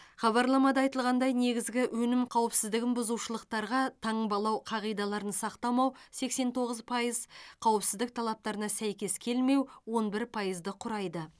хабарламада айтылғандай негізгі өнім қауіпсіздігін бұзушылықтарға таңбалау қағидаларын сақтамау сексен тоғыз пайыз қауіпсіздік талаптарына сәйкес келмеу он бір пайызды құрайды